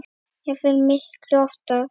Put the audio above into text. jafnvel miklu ofar.